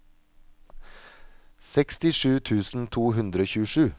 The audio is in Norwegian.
sekstisju tusen to hundre og tjuesju